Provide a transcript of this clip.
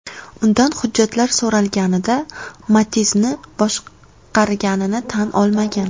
Undan hujjatlar so‘ralganida, Matiz’ni boshqarganini tan olmagan.